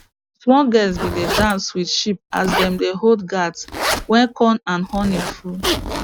small girls been dey dance with sheep as dem dey hold gourds wey corn and honey full